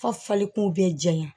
Fo fali kun bɛ jɛn yan